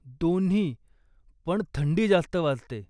दोन्ही, पण थंडी जास्त वाजते.